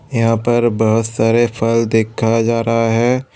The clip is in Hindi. यहां पर बहुत सारे फल देखा जा रहा है।